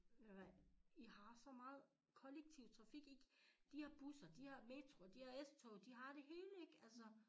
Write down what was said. Ved du hvad i har så meget kollektiv trafik i de har busser de har metro de har S-tog de har det hele ikke altså